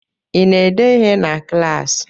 I na-ede ihe na klaasị?